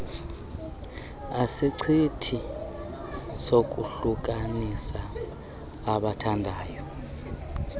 sisichitho sokuhlukanisa abathandayo